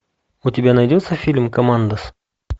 у тебя найдется фильм командос